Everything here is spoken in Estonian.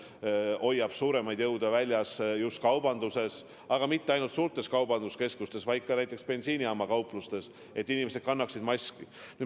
Politsei hoiab suuremaid jõude väljas just kaubanduses, ja mitte ainult suurtes kaubanduskeskustes, vaid ka näiteks bensiinijaamapoodides, et inimesed kannaksid maski.